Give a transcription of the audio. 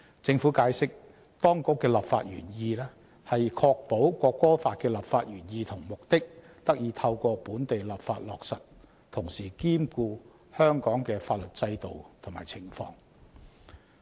政府解釋，當局的立法原則是確保《國歌法》的立法原意和目的得以透過本地立法落實，同時兼顧香港的法律制度及情況。